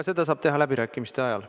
Seda saab teha läbirääkimiste ajal.